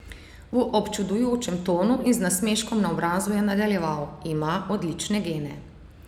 V občudujočem tonu in z nasmeškom na obrazu je nadaljeval: "Ima odlične gene.